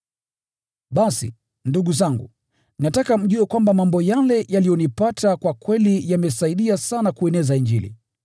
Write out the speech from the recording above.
Basi, ndugu zangu, nataka mjue kwamba mambo yale yaliyonipata kwa kweli yamesaidia sana kueneza Injili.